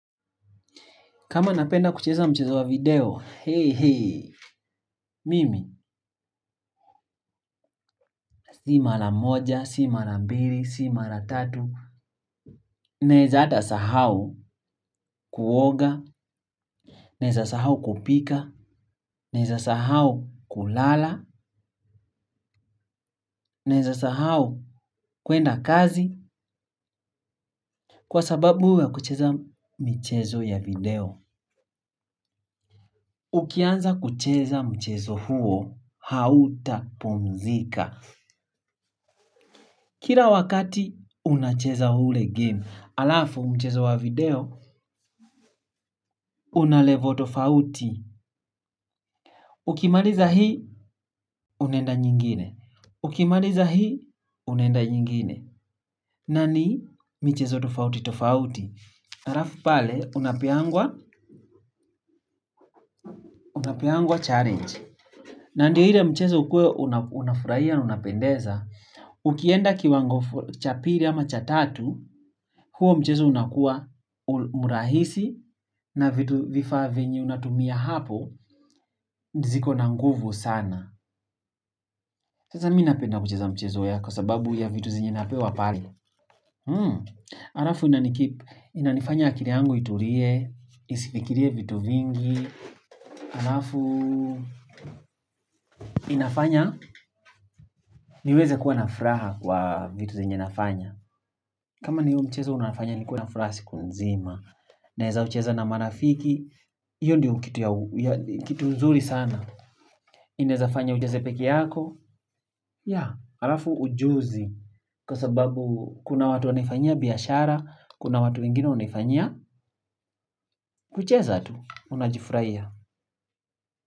Kama napenda kucheza mchezo wa video, hei hei, mimi, si mara moja si mara mbili si mara tatu naeza hata sahau kuoga naeza sahau kupika naeza sahau kulala naeza sahau kuenda kazi, kwa sababu ya kucheza michezo ya video. Ukianza kucheza mchezo huo, hauta pumzika. Kila wakati, unacheza ule game. Halafu mchezo wa video, una level tofauti. Ukimaliza hii, unaenda nyingine. Ukimariza hii, unenda nyingine. Nani, michezo tofauti tofauti. Halafu pale, unapeangwa challenge. Nandio ile mchezo ukuwe, unafurahia na unapendeza. Ukienda kiwango cha pili ama cha tatu huo mchezo unakuwa murahisi. Na vitu vifaa vyenye unatumia hapo ziko na nguvu sana. Sasa mi napenda kucheza mchezo ya kwa sababu ya vitu zenye napewa pale halafu inanikeep. Inanifanya akili yangu itulie. Isifikirie vitu vingi halafu nafanya niweze kuwa na furaha kwa vitu zenye nafanya. Kama ni huo mchezo unafanya nikuwe na furaha siku nzima. Naeza ucheza na marafiki, hiyo ndiyo kitu nzuri sana. Inaeza fanya ucheze peke yako, ya, halafu ujuzi. Kwa sababu kuna watu wanaifanyia biashara, kuna watu wengine wanaifanyia, kucheza tu, unajifurahia.